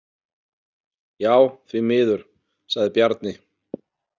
Já, því miður, sagði Bjarni.